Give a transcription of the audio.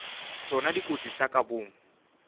tšona dikotsi tša ka boomo